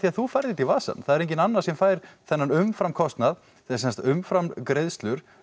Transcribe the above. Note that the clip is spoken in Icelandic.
að þú færð þetta í vasann það er enginn annar sem fær þennan umfram kostnað þessar umfram greiðslur